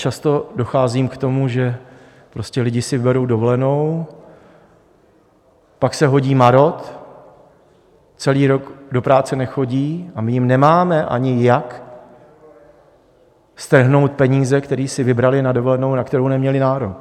Často docházím k tomu, že prostě lidé si berou dovolenou, pak se hodí marod, celý rok do práce nechodí, a my jim nemáme ani jak strhnout peníze, které si vybrali na dovolenou, na kterou neměli nárok.